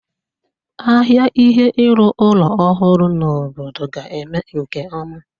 Ahịa ihe ịrụ ụlọ ọhụrụ n'obodo ga-eme nke ọma.